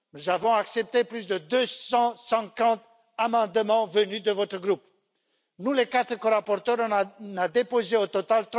Nous avons accepté plus de 250 amendements venus de ce groupe. Nous, les quatre corapporteurs, en avons déposé au total